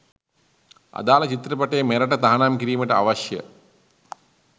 අදාල චිත්‍රපටය මෙරට තහනම් කිරිමට අවශ්‍ය